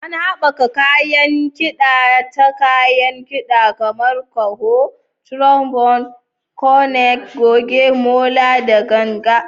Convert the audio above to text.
Ana haɓaka kayan kida ta kayan kida kamar ƙaho, trombone, cornet, goge, molo, da ganga.